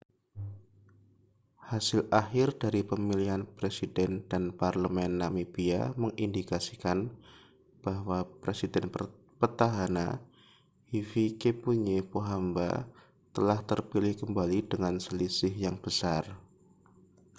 hasil akhir dari pemilihan presiden dan parlemen namibia mengindikasikan bahwa presiden petahana hifikepunye pohamba telah terpilih kembali dengan selisih yang besar